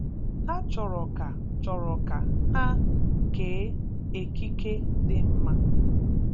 Há chọ̄rọ̄ ka chọ̄rọ̄ ka ha kéé ékíké dị mma